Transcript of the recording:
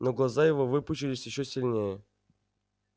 но глаза его выпучились ещё сильнее